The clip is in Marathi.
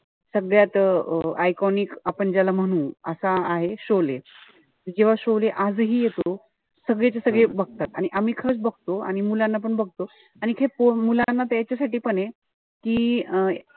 सगळ्यात अं iconic आपण ज्याला म्हणू. असा आहे त जेव्हा आजही येतो. सगळेच्या सगळे बघतात. आणि आम्ही खरच बघतो. आणि मुलांना पण बघतो. आणि तिथे मुलांना ते त्यांच्यासाठी पण ए. कि अं